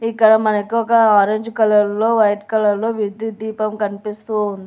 ఇక్కడ మనకు ఒక ఆరెంజ్ కలర్లో వైట్ కలర్లో విద్యుత్ దీపం కనిపిస్తూ ఉం --